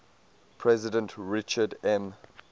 president richard m